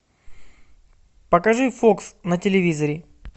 покажи фокс на телевизоре